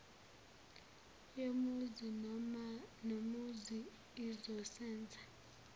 yomuzi nomuzi izosenza